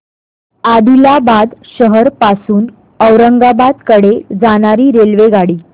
आदिलाबाद शहर पासून औरंगाबाद कडे जाणारी रेल्वेगाडी